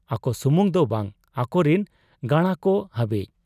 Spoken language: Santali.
ᱟᱠᱚ ᱥᱩᱢᱩᱝ ᱫᱚ ᱵᱟᱝ ᱟᱠᱚᱨᱤᱱ ᱜᱟᱬᱟᱠᱚ ᱦᱟᱹᱵᱤᱡ ᱾